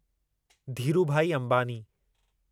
Dhirubhai Ambani